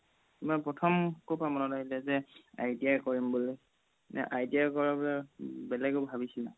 প্ৰথম ক'ৰ পৰাই মনত আহিলে যে ITI কৰিম বুলি নে ITI কৰা পৰাই বেলেগও ভাবিছিলা